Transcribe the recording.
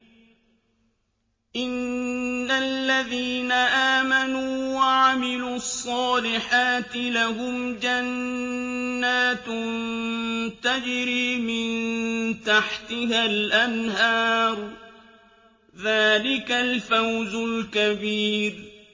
إِنَّ الَّذِينَ آمَنُوا وَعَمِلُوا الصَّالِحَاتِ لَهُمْ جَنَّاتٌ تَجْرِي مِن تَحْتِهَا الْأَنْهَارُ ۚ ذَٰلِكَ الْفَوْزُ الْكَبِيرُ